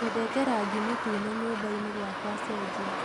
nyendete rangĩ mũtũne nyũmbaini gwakwa cenjĩa